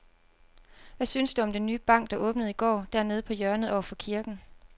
Hvad synes du om den nye bank, der åbnede i går dernede på hjørnet over for kirken?